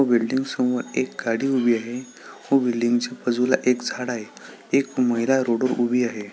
एक बिल्डिंग समोर एक गाडी उभी आहे व बिल्डिंगच्या बाजूला एक झाड आहे एक महिला रोडवर उभी आहे.